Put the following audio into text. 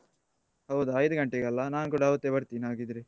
ಹೌದಾ ಐದು ಗಂಟೆಗಲ್ಲಾ ನಾನ್ ಕೂಡ ಅವತ್ತೆ ಬರ್ತೇನೆ ಹಾಗಿದ್ರೆ.